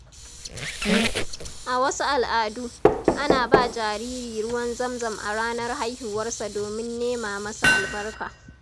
A wasu al’adu, ana ba jariri ruwan zamzam a ranar haihuwarsa domin nema masa albarka.